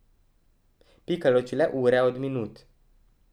Pika loči le ure od minut.